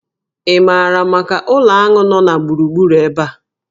Ị maara maka ụlọ aṅụ nọ na gburugburu ebe a?